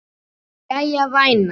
Jæja, væna.